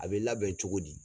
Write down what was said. A bɛ labɛn cogo di?